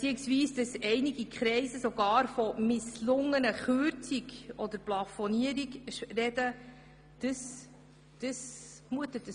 Gewisse Kreise sprechen sogar von einer misslungenen Kürzung oder einer Plafonierung.